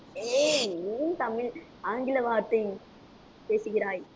ஏய் ஹம் தமிழ் ஆங்கில வார்த்தை பேசுகிறாய்